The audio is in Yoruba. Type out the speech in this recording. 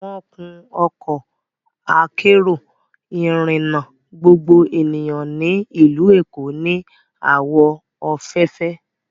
Wọ́n kun Ọkọ akérò ìrìnà gbogbo ènìyàn ní ìlú Èkó ní àwọ̀ òféèfé